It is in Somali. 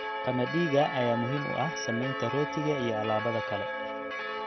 Qamadiga ayaa muhiim u ah samaynta rootiga iyo alaabada kale.